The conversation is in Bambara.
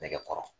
Nɛgɛkɔrɔ